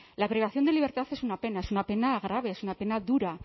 la privación de libertad es una pena es una pena grave es una pena dura